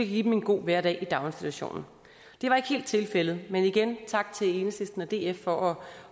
give dem en god hverdag i daginstitutionen det var ikke helt tilfældet men igen tak til enhedslisten og df for